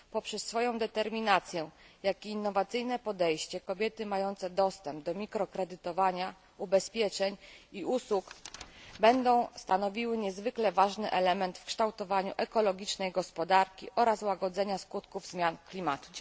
Poprzez swoją determinację i innowacyjne podejście kobiety mające dostęp do mikrokredytów, ubezpieczeń i usług będą stanowiły niezwykle ważny element w kształtowaniu ekologicznej gospodarki oraz łagodzenia skutków zmian klimatu.